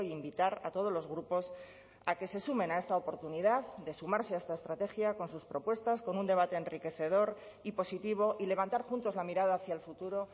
invitar a todos los grupos a que se sumen a esta oportunidad de sumarse a esta estrategia con sus propuestas con un debate enriquecedor y positivo y levantar juntos la mirada hacia el futuro